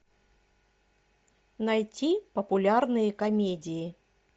найти популярные комедии